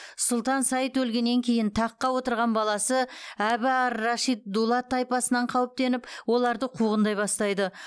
сұлтан саид өлгеннен кейін таққа отырған баласы әбі ар рашид дулат тайпасынан қауіптеніп оларды қуғындай бастайды